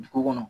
Dugu kɔnɔ